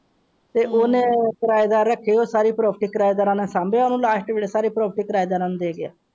ਤੇ ਉਹਨੇ ਕਿਰਾਏਦਾਰ ਰੱਖੇ ਹੋਏ ਹੈ ਸਾਰੀ ਪ੍ਰਾਪਰਟੀ ਕਿਰਾਏਦਾਰ ਨੂੰ ਸਾਂਭੀ ਹੋਇ ਹੈ ਸਾਰੀ ਪ੍ਰਾਪਰਟੀ ਕਿਰਾਏਦਾਰ ਨੂੰ ਦੇ ਦਿਓ।